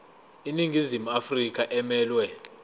iningizimu afrika emelwe